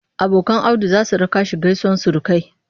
Abokan Audu za su raka shi gaisuwar surukai.